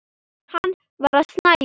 Hann var að snæða.